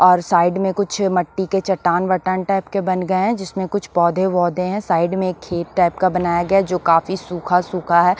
और साइड में कुछ मट्टी के चट्टान वट्टान टाइप के बन गए हैं जिसमें कुछ पौधे-वौधे हैं साइड में एक खेत टाइप का बनाया गया है जो काफी सूखा सूखा है ।